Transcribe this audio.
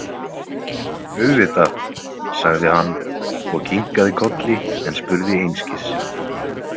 Auðvitað, sagði hann og kinkaði kolli en spurði einskis.